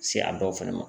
Se a dɔw fɛnɛ ma